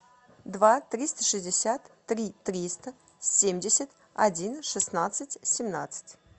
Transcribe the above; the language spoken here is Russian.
два триста шестьдесят три триста семьдесят один шестнадцать семнадцать